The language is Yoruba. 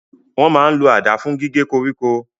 Wọ́n máa n lo àdá fún gígé koríko